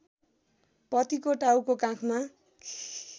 पतिको टाउको काखमा